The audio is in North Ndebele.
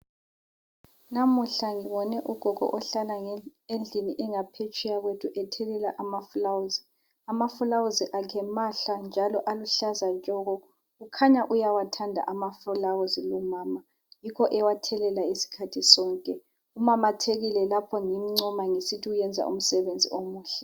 Namuhla ngibone ugogo ohlala endlini engaphetsheya kwethu ethelela amafulawuzi. Amafulawuzi akhe mahle njalo aluhlaza tshoko kukhanya uyawathanda amafulawuzi lumama yikho ewathelela isikhathi sonke. Umamathekile lapho ngimncoma ukuthi wenza umsebenzi omuhle.